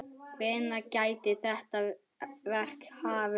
Hvenær gæti þetta verk hafist?